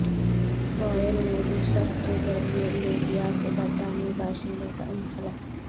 Royal navy ship کے ذریعے Libya سے برطانوی باشندوں کا انخلا